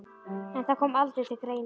En það kom aldrei til greina.